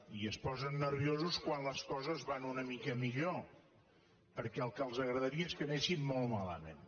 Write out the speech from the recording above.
i es posen nerviosos quan les coses van una mica millor perquè el que els agradaria és que anessin molt malament